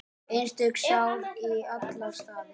Einstök sál í alla staði.